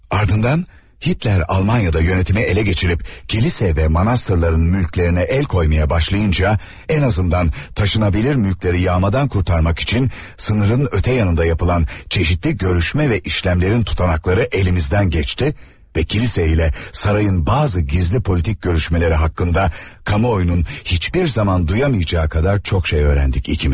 Ardından Hitler Almaniyada yönetimi ələ keçirib kilsə və monastırların mülklərinə əl qoymağa başlayınca, ən azından daşınabilir mülkləri yağmadan qurtarmaq üçün sınırın o tərəfində yapılan çeşitli görüşmə və əməliyyatların tutanaqları əlimizdən keçdi və kilsə ilə sarayın bəzi gizli siyasi görüşmələri haqqında kamuoyunun heç bir zaman duyamayacağı qədər çox şey öyrəndik ikimiz.